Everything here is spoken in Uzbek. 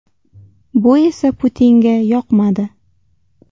Bu esa Putinga yoqmadi.